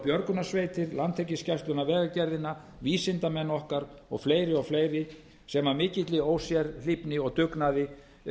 björgunarsveitir landhelgisgæsluna vegagerðina vísindamenn okkar og fleiri og fleiri sem af mikilli ósérhlífni og dugnaði